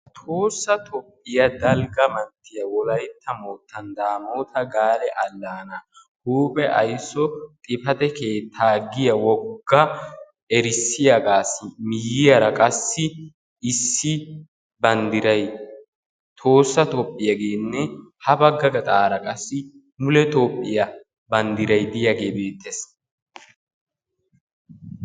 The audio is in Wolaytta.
Tohossa Toophiyaa dalgga manttiya Wolaytta moottan Daamotta gaale allaana huuphe aysso xifaate keetta giya wogga erissiyaagassi miyyiyaara qassi issi banddiray Tohossa Toophiyagenne ha baggaa gaxxaara qassi mule Toophiyaa banddiray diyaage beettees.